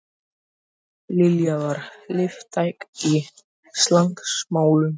Lilla var liðtæk í slagsmálum.